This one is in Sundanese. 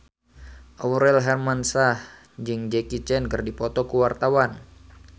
Aurel Hermansyah jeung Jackie Chan keur dipoto ku wartawan